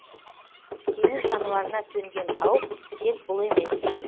теңіз жануарына төнген қауіп тек бұл емес